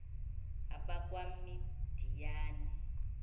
abakwamidiyani